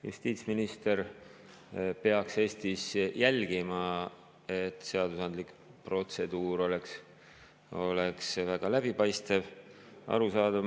Justiitsminister peaks Eestis jälgima, et seadusandlik protseduur oleks väga läbipaistev ja arusaadav.